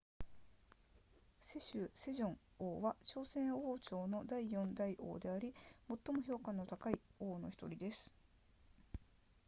世宗セジョン王は朝鮮王朝の第4代王であり最も評価の高い王の1人です